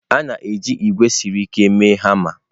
A na-eji ígwè siri ike mee hama.